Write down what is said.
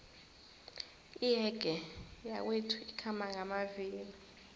iyege yakwethu ikhamba ngamavilo